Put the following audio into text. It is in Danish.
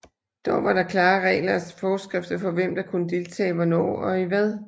Dog var der klare regler og forskrifter for hvem der kunne deltage hvornår og i hvad